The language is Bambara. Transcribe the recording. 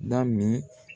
Da min